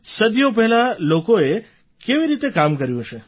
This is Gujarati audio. સદીઓ પહેલાં લોકોએ કેવી રીતે કામ કર્યું હશે